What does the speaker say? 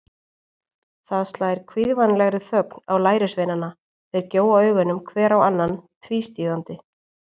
Það slær kvíðvænlegri þögn á lærisveinana, þeir gjóa augunum hver á annan tvístígandi.